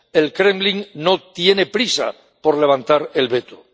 El Kremlin no tiene prisa por levantar el veto.